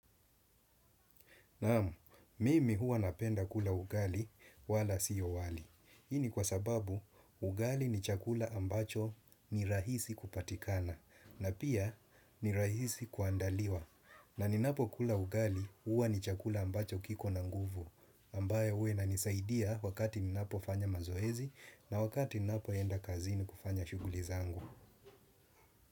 Naam, mimi huwa napenda kula ugali wala siyo wali. Hii ni kwa sababu ugali ni chakula ambacho ni rahisi kupatikana na pia ni rahisi kuandaliwa. Na ninapokula ugali huwa ni chakula ambacho kiko na nguvu. Ambaye huwa inanisaidia wakati ninapofanya mazoezi na wakati ninapoenda kazini kufanya shughuli zangu.